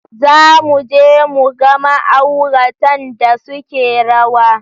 Za mu je mu ga ma'auratan da suke rawa.